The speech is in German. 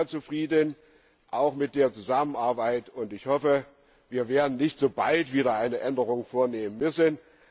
Ich bin sehr zufrieden, auch mit der Zusammenarbeit, und ich hoffe, wir werden nicht so bald wieder eine Änderung vornehmen müssen.